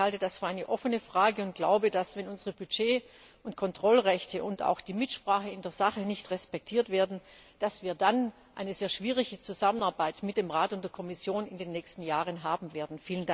Ich halte das für eine offene Frage und glaube, dass, wenn unsere Budget und Kontrollrechte und auch die Mitsprache in der Sache nicht respektiert werden, wir dann eine sehr schwierige Zusammenarbeit mit dem Rat und der Kommission in den nächsten Jahren haben werden.